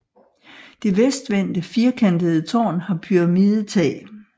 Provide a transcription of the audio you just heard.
Det vestvendte firkantede tårn har pyramidetag